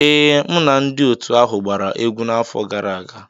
Ee, mụ na ndị otu ahụ gbara egwu n'afọ gara aga.